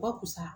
Bakusa